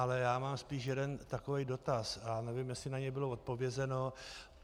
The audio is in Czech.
Ale já mám spíš jeden takový dotaz a nevím, jestli na něj bylo odpovězeno.